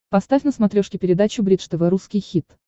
поставь на смотрешке передачу бридж тв русский хит